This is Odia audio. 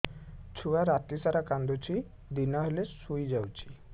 ଛୁଆ ରାତି ସାରା କାନ୍ଦୁଚି ଦିନ ହେଲେ ଶୁଇଯାଉଛି